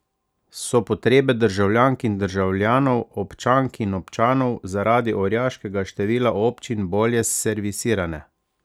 So potrebe državljank in državljanov, občank in občanov, zaradi orjaškega števila občin bolje servisirane?